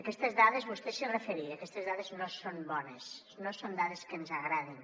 aquestes dades vostè s’hi referia no són bones no són dades que ens agradin